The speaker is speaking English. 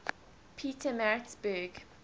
petermaritzburg